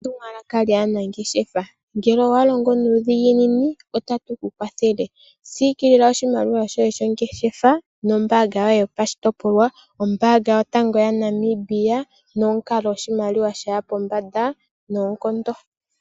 Etumwalaka lyanangeshefa ngele walongo nuudhiginini otatu kukwathele siikilila oshimaliwa shoye shongeshefa nombaanga yoye yopashigwana, ombaanga yotango yaNamibia nomukalo oshimaliwa shaya pombanda noonkondo.